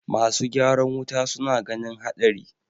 masu ygaran wuta suna ganin haɗari